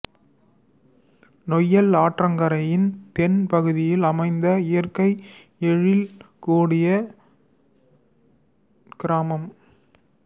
நொய்யல் ஆற்றங்கரையின் தென் பகுதியில் அமைந்த இயற்கை எழில் கூடிய கிராமம்